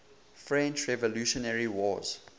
french revolutionary wars